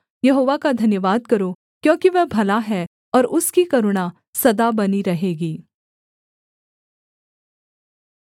यहोवा का धन्यवाद करो क्योंकि वह भला है और उसकी करुणा सदा बनी रहेगी